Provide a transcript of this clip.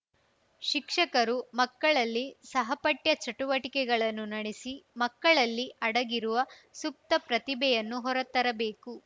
ಶಿಕ್ಷಕರು ಮಕ್ಕಳಲ್ಲಿ ಸಹಪಠ್ಯ ಚಟುವಟಿಕೆಗಳನ್ನು ನಡೆಸಿ ಮ್ಕಕಳಲ್ಲಿ ಅಡಗಿರುವ ಸುಪ್ತ ಪ್ರತಿಭೆಯನ್ನು ಹೊರತರಬೇಕು